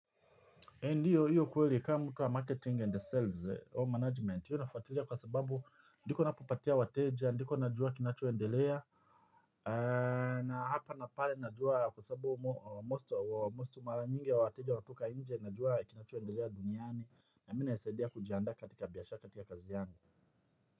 Ndiyo, hiyo kweli kama mtu wa marketing and sales, home management, hiyo nafuatilia kwa sababu ndiko napopatia wateja, ndiko najua kinachoendelea, na hapa na pale najua kwa sababu mostu mara nyingi ya wateja watoka inje, najua kinachoendelea duniani, na mi inanisaidia kujiandaa katika biashara katika kazi yangu.